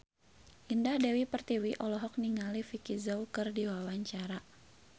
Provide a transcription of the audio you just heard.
Indah Dewi Pertiwi olohok ningali Vicki Zao keur diwawancara